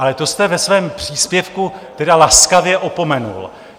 Ale to jste ve svém příspěvku tedy laskavě opomenul.